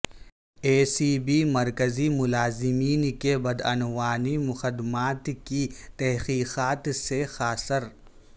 اے C B مرکزی ملازمین کے بدعنوانی مقدمات کی تحقیقات سے قاصر